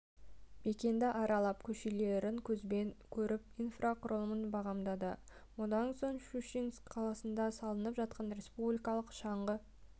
мекенді аралап көшелерін көзбен көріп инфрақұрылымын бағамдады мұнан соң щучинск қаласында салынып жатқан республикалық шаңғы